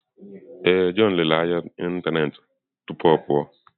Ee, john lere ahịa ahịa n'ịntanetị n'ụtụtụ a tupu ọ pụọ.